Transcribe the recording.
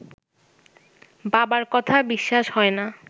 বাবার কথা বিশ্বাস হয় না